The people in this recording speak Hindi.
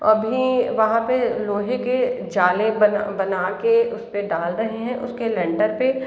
अभी वहाँ पे लोहे के जाले बना बनाके उसपे डाल रहे हैं उसके लैंटर पे।